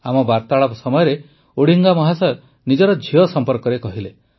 ଆମ ବାର୍ତ୍ତାଳାପ ସମୟରେ ଓଡିଙ୍ଗା ମହାଶୟ ନିଜ ଝିଅ ସମ୍ପର୍କରେ କହିଲେ